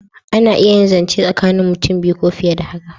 A na iya zance tsakanin mutum biyu ko fiye da haka